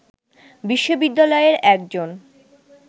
বিশ্ববিদ্যালয়ের একজন